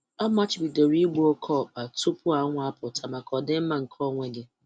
Amachibidoro igbu oke ọkpa tupu anwụ apụta maka ọdịmma nke onwe gị.